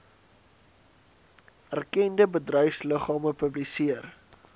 erkende bedryfsliggame publiseer